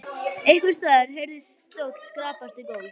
Einhvers staðar heyrðist stóll skrapast við gólf.